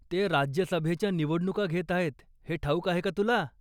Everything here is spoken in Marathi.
ते राज्यसभेच्या निवडणुका घेत आहेत, हे ठाऊक आहे का तुला?